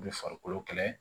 U bɛ farikolo kɛlɛ